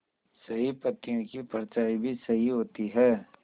सही पत्तियों की परछाईं भी सही होती है